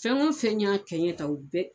Fɛn o fɛn y'a kɛ n ye tan u bɛɛ